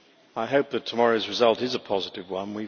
I hope that tomorrow's result is a positive one.